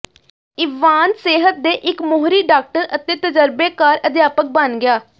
Ivan ਸਿਹਤ ਦੇ ਇੱਕ ਮੋਹਰੀ ਡਾਕਟਰ ਅਤੇ ਤਜਰਬੇਕਾਰ ਅਧਿਆਪਕ ਬਣ ਗਿਆ